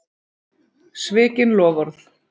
Svikin loforð.